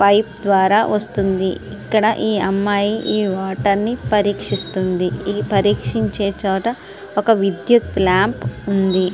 Pipe ద్వారా వస్తుంది. ఇక్కడ అమ్మాయి ఈ వాటర్ ని పరీక్షిస్తుంది. ఈ పరీక్షియించే దగ్గర ఒక విద్యుత్ లాంప్ ఉంది.